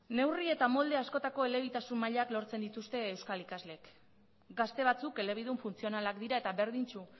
neurri eta molde askotako elebitasun mailak lortzen dituzte euskal ikasleek gazte batzuk elebidun funtzionalak dira eta berdintsu